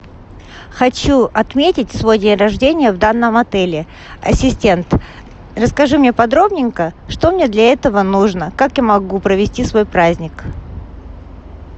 хочу отметить свой день рождения в данном отеле ассистент расскажи мне подробненько что мне для этого нужно как я могу провести свой праздник